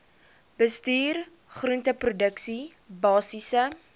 bestuur groenteproduksie basiese